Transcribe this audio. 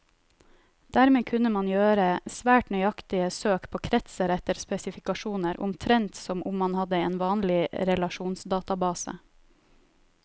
Dermed kunne man gjøre svært nøyaktige søk på kretser etter spesifikasjoner, omtrent som om man hadde en vanlig relasjonsdatabase.